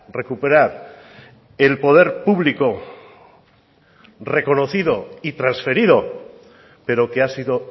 recuperar el poder público reconocido y transferido pero que ha sido